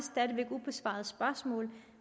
ubesvarede spørgsmål